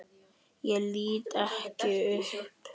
Ég lít ekki upp.